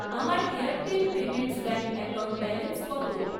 আমার Airtel payments bank account balance কত?